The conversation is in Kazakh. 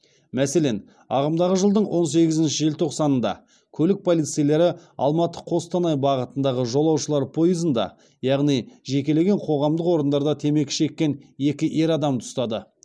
мәселен ағымдағы жылдың он сегізінші желтоқсанында көлік полицейлері алматы қостанай бағытындағы жолаушылар пойызында яғни жекелеген қоғамдық орындарда темекі шеккен екі ер адамды ұстады